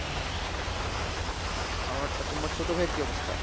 হ্যাঁ, আমার, তোমার ছোট ভাইয়ের কি অবস্থা?